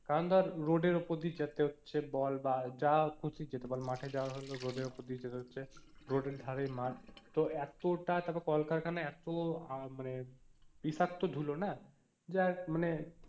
কারণ ধর road এর উপর দিয়ে যেতে হচ্ছে বল বা যা খুশি মাঠে যাওয়ার হলেও road এর উপর দিয়ে যেতে হচ্ছে road এর ধারেই মাঠ তো এতটা তারপরে কলকারখানা এত আহ মানে বিষাক্ত ধুলো না যাই মানে